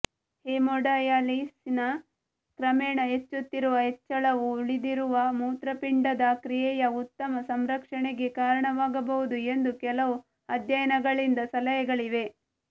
ಹೆಮೋಡಯಾಲಿಸಿಸ್ನ ಕ್ರಮೇಣ ಹೆಚ್ಚುತ್ತಿರುವ ಹೆಚ್ಚಳವು ಉಳಿದಿರುವ ಮೂತ್ರಪಿಂಡದ ಕ್ರಿಯೆಯ ಉತ್ತಮ ಸಂರಕ್ಷಣೆಗೆ ಕಾರಣವಾಗಬಹುದು ಎಂದು ಕೆಲವು ಅಧ್ಯಯನಗಳಿಂದ ಸಲಹೆಗಳಿವೆ